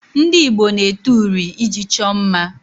Ndị Igbo na-ete uri iji chọọ mma